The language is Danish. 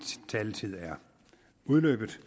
taletid er udløbet